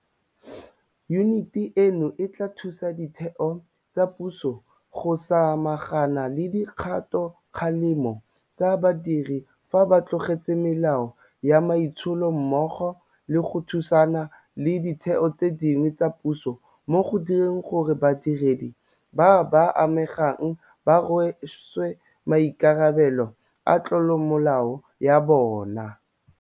Yuniti eno e tla thusa ditheo tsa puso go samagana le dikgatokgalemo tsa badiri fa ba tlotse melao ya maitsholo mmogo le go thusana le ditheo tse dingwe tsa puso mo go direng gore badiredi ba ba amegang ba rweswe maikarabelo a tlolomolao ya bona.